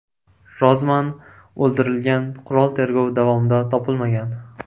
Rozman o‘ldirilgan qurol tergov davomida topilmagan.